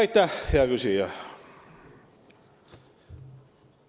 Aitäh, hea küsija!